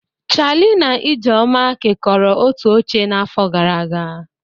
Charlie na Ijeoma kekọrọ otu oche n'afọ gara aga